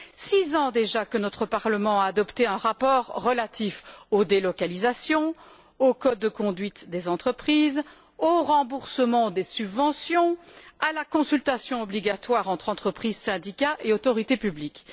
Cela fait six ans déjà que notre Parlement a adopté un rapport relatif aux délocalisations, au code de conduite des entreprises, au remboursement des subventions, à la consultation obligatoire entre entreprises, syndicats et autorité publique.